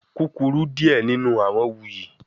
Kukuru diẹ ninu awọn wuyi